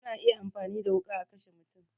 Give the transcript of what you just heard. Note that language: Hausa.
Ana iya amfani da wuƙa a kashe mutum